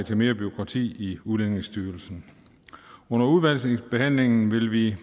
til mere bureaukrati i udlændingestyrelsen under udvalgsbehandlingen vil vi